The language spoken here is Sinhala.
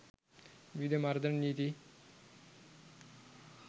විවිධ මර්ධන නීති